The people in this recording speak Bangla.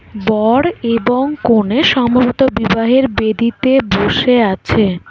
বর এবং কনে সম্ভবত বিবাহের বেদীতে বসে আছে।